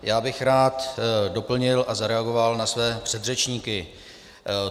Já bych rád doplnil a zareagoval na své předřečníky.